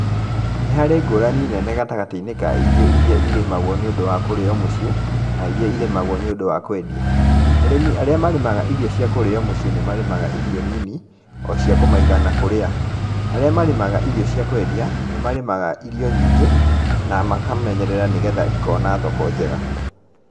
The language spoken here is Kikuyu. Nĩ harĩ ngũranĩ nene gatagatĩ-ĩnĩ ka irio iria irĩmagwo nĩũndũ wa kũrĩo mũciĩ, na iria irĩmagwo nĩũndũ wa kwendĩa, arĩmĩ arĩa marĩmaga irio cia kũrĩo mũciĩ nĩmarĩmaga irio nini, o cia kũmaĩgana kũrĩa. Arĩa marĩmaga irio cia kwendĩa, nĩmarĩmaga irio nyingĩ na makamenyerera nĩgetha ikona thoko njega.